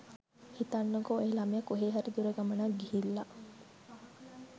හිතන්නකෝ ඔය ළමයා කොහේ හරි දුර ගමනක් ගිහිල්ලා